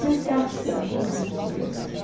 se esgarçando, vamos dizer assim.